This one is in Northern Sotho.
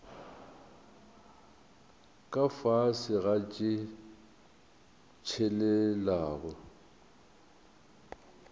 ka fase ga tše tshelelago